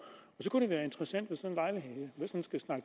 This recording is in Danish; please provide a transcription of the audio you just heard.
det kunne være interessant